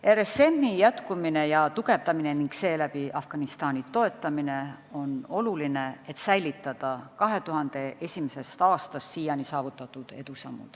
RSM-i jätkumine ja tugevdamine ning seeläbi Afganistani toetamine on oluline, et säilitada 2001. aastast siiani saavutatud edusamme.